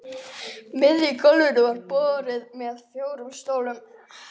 miðju gólfinu var borð með fjórum stólum.